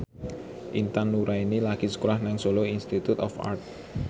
Intan Nuraini lagi sekolah nang Solo Institute of Art